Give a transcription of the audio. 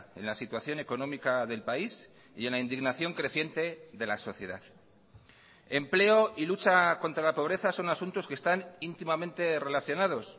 en la situación económica del país y en la indignación creciente de la sociedad empleo y lucha contra la pobreza son asuntos que están íntimamente relacionados